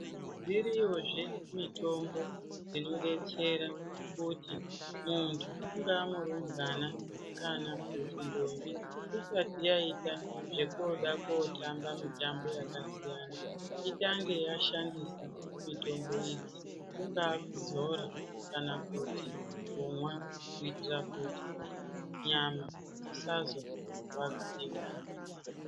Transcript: Dziriyozve mitombo dzinodetsera muntu ungaa murumbwana kana ndombi isati yaita zvokoda kotamba mitambo yakasiyana itange yashandisa mitombo iyi kungaa kudzora kana kuti kumwa kuitira kuti nyama dzisazo rwadziwa.